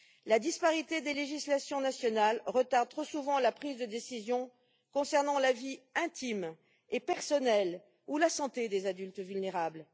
La disparité des législations nationales retarde trop souvent la prise de décision concernant la vie intime et personnelle, ou la santé, des adultes vulnérables.